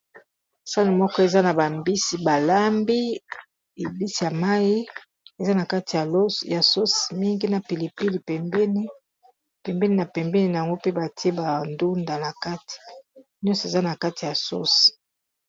Sane moko eza na bambisi balambi ebisi ya mai eza na kati ya sose mingi na pilipili pembeni pembeni na pembeni yango mpe batie bandunda na kati nyonso eza na kati ya sose.